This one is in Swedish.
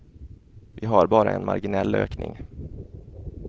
Vi har bara en marginell ökning.